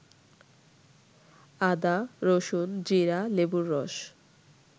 আদা, রসুন, জিরা, লেবুর রস